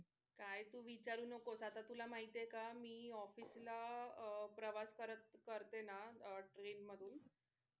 काय तू विचारू नको आत्ता तुला माहिती आहे का मी office ला अह प्रवास करत करते ना train मधून,